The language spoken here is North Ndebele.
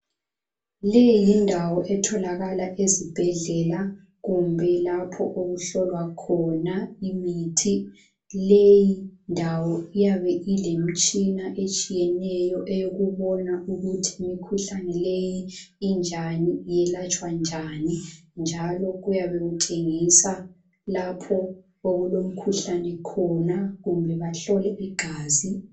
Le yindawo etholakala ezibhedlela kumbe lapha okuhlolwa khona imithi. Le indawo iyabe ilemitshina etshiyeneyo, eyokubona ukuthi imikhuhlane leyi injani, iyelatshwa njani. njalo kuyabe kutshengisa lapho okulemikhuhlane khona. kumbe bahlole igazi.